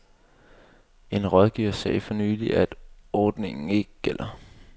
En rådgiver sagde for nylig, at ordningen ikke gælder.